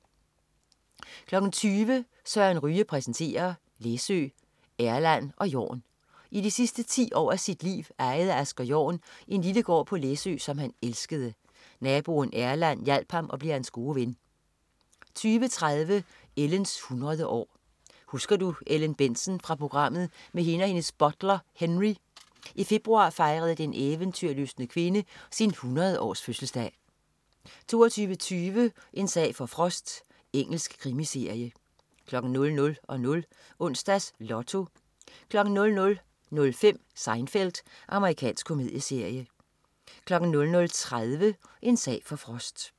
20.00 Søren Ryge præsenterer. Læsø, Erland og Jorn. I de sidste 10 år af sit liv ejede Asger Jorn en lille gård på Læsø, som han elskede. Naboen Erland hjalp ham og blev hans gode ven 20.30 Ellens 100 år. Husker du Ellen Bentzen fra programmet med hende og hendes butler, Henry? I februar fejrede den eventyrlystne kvinde sin 100-års-fødselsdag 22.20 En sag for Frost. Engelsk krimiserie 00.00 Onsdags Lotto 00.05 Seinfeld. Amerikansk komedieserie 00.30 En sag for Frost